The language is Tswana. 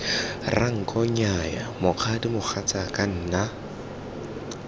ranko nnyaya mokgadi mogatsaka nna